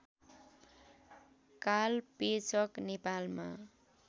कालपेचक नेपालमा